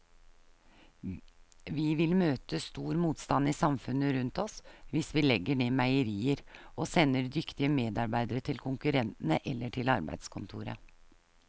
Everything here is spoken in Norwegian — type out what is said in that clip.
Vi vil møte stor motstand i samfunnet rundt oss hvis vi legger ned meierier og sender dyktige medarbeidere til konkurrentene eller til arbeidskontoret.